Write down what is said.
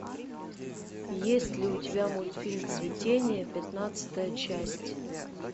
есть ли у тебя мультфильм цветение пятнадцатая часть